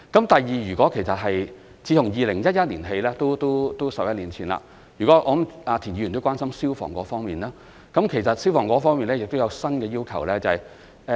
第二，自從2011年起，即是11年前——我相信田議員也關心消防方面的問題——其實我們在消防方面亦有新要求。